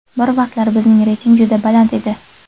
Bir vaqtlar bizning reyting juda baland edi.